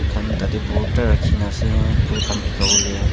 khan tateh borta rakhina ase phool khan bikawole.